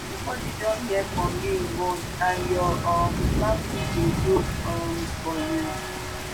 nobody don hear from you in months and your um family dey look um for you."